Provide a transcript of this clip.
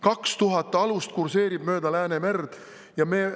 Kaks tuhat alust kurseerib mööda Läänemerd!